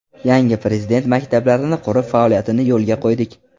Yangi Prezident maktablarini qurib, faoliyatini yo‘lga qo‘ydik.